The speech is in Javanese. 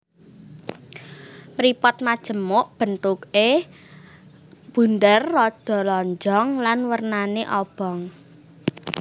Mripat majemuk bentuké bunder rada lonjong lan wernané abang